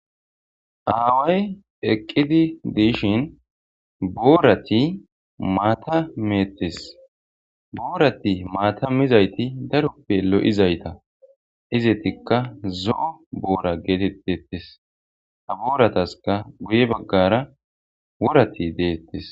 aaway eqqidi diishin boorati maatameettes boorati maatamizayti daroppe lo7izayta izetikka zo7o boora geetettettes aboorataska guye baggara worati deettes